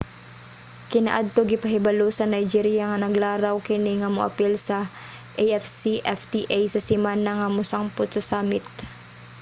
kaniadto gipahibalo sa nigeria nga naglaraw kini nga moapil sa afcfta sa semana nga mosangput sa summit